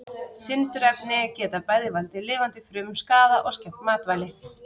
Sindurefni geta bæði valdið lifandi frumum skaða og skemmt matvæli.